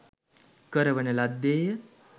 කරවන ලද්දේ ය